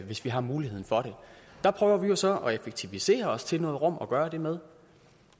hvis vi har muligheden for det der prøver vi jo så at effektivisere os til noget rum at gøre det med